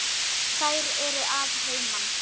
Þær eru að heiman.